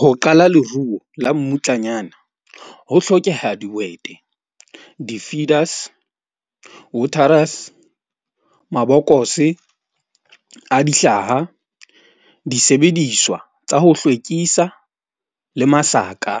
Ho qala leruo la mmutlanyana ho hlokeha dihwete, di-feeders, waterers, mabokose a dihlaha, disebediswa tsa ho hlwekisa le masaka